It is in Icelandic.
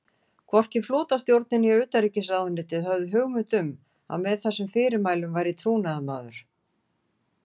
Hvorki flotastjórnin né utanríkisráðuneytið höfðu hugmynd um, að með þessum fyrirmælum væri trúnaðarmaður